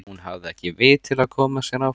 Hún hafði ekki vit til að koma sér áfram.